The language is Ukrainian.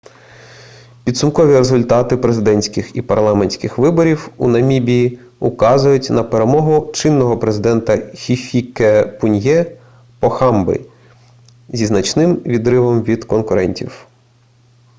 підсумкові результати президентських і парламентських виборів у намібії указують на перемогу чинного президента хіфікепуньє похамби зі значним відривом від конкурентів